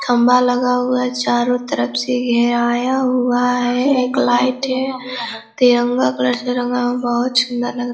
खम्बा लगा हुआ है चारो तरफ से घिराया हुआ है एक लाइट है तिरंगा कलर से रंगा हुआ है बहुत सुन्दर लग रहा है।